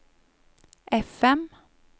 FM